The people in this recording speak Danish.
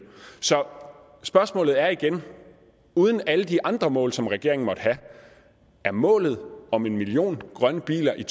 så spørgsmålet er igen uden alle de andre mål som regeringen måtte have er målet om en million grønne biler i